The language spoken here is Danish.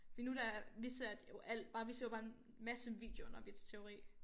Fordi nu der vi satte jo alt bare vi så bare en masse videoer når vi til teori